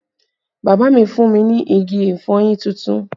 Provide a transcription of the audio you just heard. Bàbá mi fún mi ní igi ìfọyín tuntun